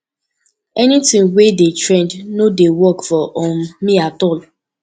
anything wey dey trend no dey work for um me at all